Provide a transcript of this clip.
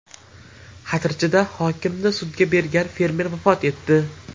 Xatirchida hokimni sudga bergan fermer vafot etdi.